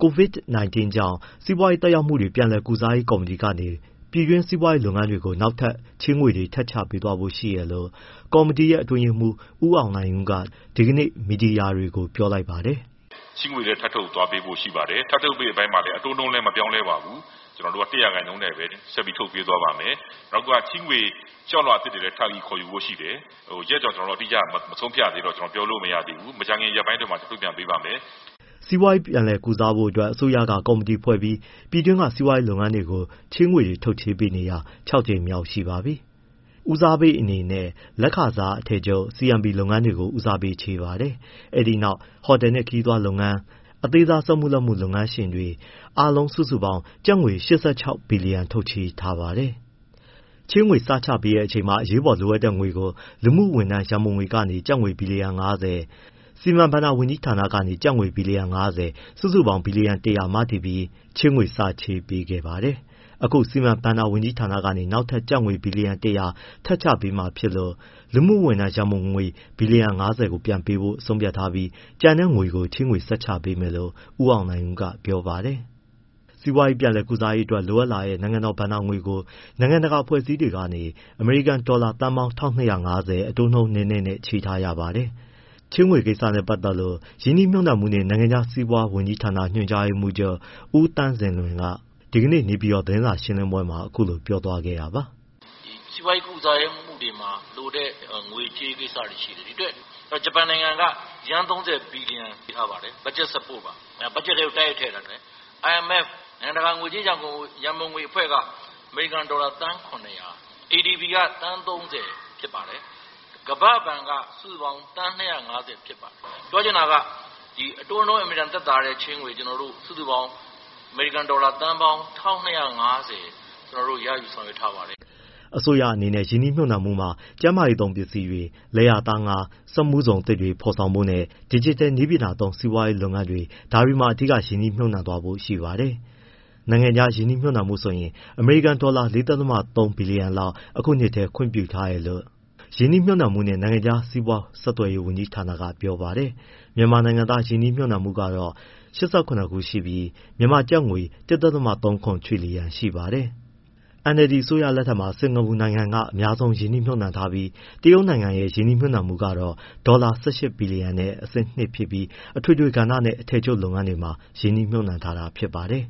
COVID-19 ကြောင့် စီးပွားရေးသက်ရောက်မှု ပြန်လည်ကုစားရေးကော်မတီကနေ ပြည်တွင်း စီးပွားရေးလုပ်ငန်းတွေကို နောက်ထပ်ချေးငွေတွေ ထပ်ချေးသွားဖို့ရှိတယ်လို့ ကော်မတီရဲ့ အတွင်းရေးမှူး ဦးအောင်နိုင်ဦးက ဒီကနေ့ မီဒီယာတွေကို ပြောလိုက်ပါတယ်။ “ ချေးငွေတွေ ထပ်ထုတ်ပေးသွားဖို့ရှိပါတယ်။ ထပ်ထုတ်ပေးမယ့် အပိုင်းမှာလည်း အတိုးနှုန်းလည်း မပြောင်းပါဘူး။၁ % နဲ့ပဲ ဆက်ထုတ်ပေးသွားပါမယ်။ နောက်ချေးငွေ လျှောက်လွှာအသစ်တွေလည်း ခေါ်ယူဖို့ရှိတယ်။ ရက်အတိအကျ မဆုံးဖြတ်ရသေးတော့ ပြောလို့မရဘူး။ မကြာခင် ရက်ပိုင်းအတွင်းမှာ ထုတ်ပြန်ပေးပါမယ်။” စီးပွားရေးပြန်လည်ကုစားဖို့အတွက် အစိုးရက ကော်မတီဖွဲ့ပြီး ပြည်တွင်းက စီးပွားရေးလုပ်ငန်းတွေကို ချေးငွေထုတ်ပေးနေတာ ကြိမ်မြောက်ရှိပါပြီ။ ဦးစားပေးအနေနဲ့ လက်ခစားအထည်ချုပ် CMP လုပ်ငန်းတွေကို ဦးစားပေးချေးပါတယ်။ အဲဒီနောက် ဟိုတယ်နဲ့ ခရီးသွားနဲ့ အသေးစားစက်မှု၊ လက်မှု လုပ်ငန်းရှင်တွေ၊ အားလုံးစုစုပေါင်း ၈၆ ဘီလီယံ ထုတ်ချေးထားပါတယ်။ ချေးငွေ စချပေးတဲ့အချိန်မှာ အရေးပေါ်လိုအပ်တဲ့ငွေကို လူမှုဝန်ထမ်းရန်ပုံငွေကနေ ကျပ်ငွေဘီလီယံ ၅၀၊ စီမံဘဏ္ဍာဝန်ကြီးဌာနကနေ ကျပ်ငွေဘီလီယံ ၅၀ စုစုပေါင်း ဘီလီယံ ၁၀၀ မတည်ပြီး ချေးငွေစပေးခဲ့ပါတယ်။ အခု စီမံဘဏ္ဍာဝန်ကြီးဌာနကနေ နောက်ထပ် ကျပ်ငွေ ဘီလီယံ ၁၀၀ ထပ်ချပေးမှာဖြစ်လို့ လူမှုဝန်ထမ်းရန်ပုံငွေ ဘီလီယံ ၅၀ကို ပြန်ပေးဖို့ဆုံးဖြတ်ထားပြီး ကျန်တဲ့ငွေကို ချေးငွေဆက်ချပေးမယ်လို့ ဦးအောင်နိုင်ဦးက ပြောပါတယ်။ စီးပွားရေးကုစားရေးတွက် လိုအပ်လာတဲ့ နိုင်ငံတော်ဘဏ္ဍာငွေကို နိုင်ငံတကာအဖွဲ့အစည်းတွေကနေ အမေရိကန်ဒေါ်လာ သန်းပေါင်း ၁၂၅၀ အတိုးနှုန်းနည်းနည်းနဲ့ ချေးထားရပါတယ်။ ချေးငွေကိစ္စနဲ့ပတ်သက်လို့ ရင်းနှီးမြှုပ်နှံမှုနဲ့ နိုင်ငံခြားစီးပွား ဝန်ကြီးဌာန ညွှန်ကြားရေးမှူးချုပ် ဦးသန့်စင်လွင်က ဒီကနေ့ နေပြည်တော် သတင်းစာရှင်းလင်းပွဲမှာ အခုလိုပြောသွားခဲ့တာပါ။ “ စီးပွားရေး ကုစားမှုတွေမှာလိုတဲ့ ငွေကြေးကိစ္စတွေရှိတယ်။ ဒီအတွက် ဂျပန်နိုင်ငံက ယန်း ၃၀ ဘီလီယံ ပေးထားပါတယ်။ ဘက်ဂျက် support ပါ။ ဘက်ဂျက်ထဲကို တိုက်ရိုက်ထည့်တာ။ IMF နိုင်ငံတကာ ငွေကြေးရန်ပုံငွေအဖွဲ့က အမေရိကန်ဒေါ်လာ သန်း ၇၀၀၊ ADB က သန်း ၃၀ ဖြစ်ပါတယ်။ ကမ္ဘာ့ဘဏ်က စုစုပေါင်း သန်း၂၅၀ ဖြစ်ပါတယ်။ ပြောချင်တာက အတိုးနှုန်း အင်မတန်သက်သာတဲ့ချေးငွေ ကျနော်တို့ စုစုပေါင်း အမေရိကန်ဒေါ်လာ သန်းပေါင်း ၁၂၅၀ ကျနော်တို့ ရယူဆောင်ရွက် ထားပါတယ်။” အစိုးအနေနဲ့ ရင်းနှီးမြှုပ်နှံမှုမှာ ကျန်းမာရေးသုံးပစ္စည်းတွေ၊ လယ်ယာ သားငါး၊ စက်မှုဇုံတွေအသစ်ထပ်ဖော်ဖို့နဲ့ ဒစ်ဂျစ်တယ်နည်းပညာသုံး စီးပွားရေးလုပ်ငန်းတွေ ဒါတွေမှာ အဓိက ရင်းနှီးမြှုပ်နှံသွားဖို့ရှိပါတယ်။ နိုင်ငံခြားရင်းနှီးမြှုပ်နှံမှုဆိုရင် အမေရိကန်ဒေါ်လာ ၄.၃ ဘီလျံလောက် အခုနှစ်ထဲ ခွင့်ပြုထားတယ်လို့ ရင်နှီးမြှုပ်နှံမှုနှင့် နိုင်ငံခြားစီးပွား ဆက်သွယ်ရေး ဝန်ကြီး ဌာနက ပြောပါတယ်။ မြန်မာနိုင်ငံသား ရင်းနှီးမြှုပ်နှံမှုကတော့ ၈၇ ခုရှိပြီး မြန်မာကျပ်ငွေ ၁.၃၇ ထရစ်လီယံ ရှိပါတယ်။ NLD အစိုးရလက်ထက်မှာ စင်္ကာပူနိုင်ငံက အများဆုံးဖြစ်ပါတယ်။ တရုတ်နိုင်ငံရဲ့ ရင်းနှီးမြှုပ်နှံမှု ကတော့ဒေါ်လာ ၁၈ ဘီလီယံနဲ့ အဆင့် ၂ ဖြစ်ပြီးအထွေထွေကဏ္ဍနဲ့အထည်ချုပ်လုပ်ငန်းတွေမှာ ရင်းနှီးမြှုပ်နှံထားတာဖြစ်ပါတယ်။